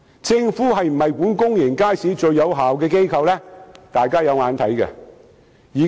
政府是否管理公眾街市最有效的機構，大家有目共睹。